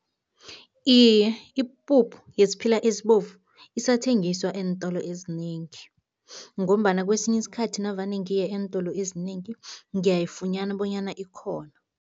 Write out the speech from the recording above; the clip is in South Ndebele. Iye, ipuphu yesiphila ezibovu isathengiswa eentolo ezinengi ngombana kwesinye isikhathi navane ngiye eentolo ezinengi, ngiyayifunyana bonyana ikhona.